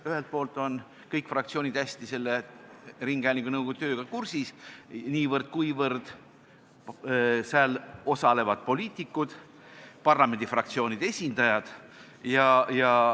Ühelt poolt on kõik fraktsioonid selle ringhäälingunõukogu tööga hästi kursis, kuivõrd seal osalevad poliitikud, parlamendi fraktsioonide esindajad.